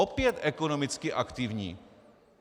Opět ekonomicky aktivní.